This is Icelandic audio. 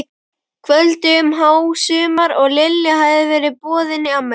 kvöldi um hásumar og Lilja hafði verið boðin í afmæli.